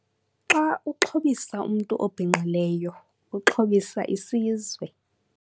"Xa uxhobisa umntu obhinqileyo, uxhobisa isizwe."